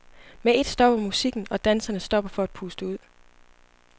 Med et stopper musikken, og danserne stopper for at puste ud.